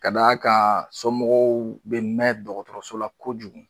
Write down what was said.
Ka d'a kan somɔgɔw be mɛ dɔgɔtɔrɔso la kojugu